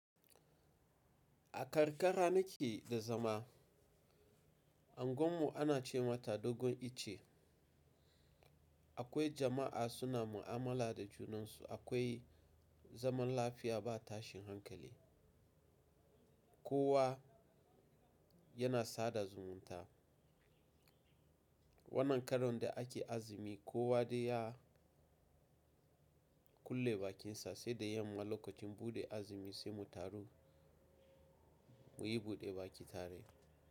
A karkara nake da zama, anguwan mu ana ce mata dogon icce. Akwai jama'a suna mu'amala da junansu, akwai zaman lafiya ba tashin hankali. Kowa yana sada zumunta. Wannan karon da ake azumi, kowa dai ya kulle bakinsa sai da yamma lokacin buɗe azumi sai mu taru muyi buɗe baki tare.